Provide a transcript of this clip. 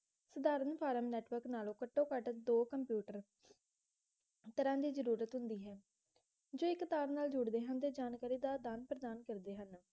ਧਰਮ form network ਨਾਲੋਂ ਘਟੋਂ ਘੱਟ ਦੋ computer ਤਰਾਹ ਦੀ ਜਰੂਰਤ ਹੁੰਦੀ ਹੈ ਜੋ ਇਕ ਤਾਰ ਜੁੜਦੇ ਹਨ ਅਤੇ ਜਾਨਕਰੀ ਦਾ ਅਦਾਨ ਪ੍ਰਦਾਨ ਕਰਦੇ ਹਨ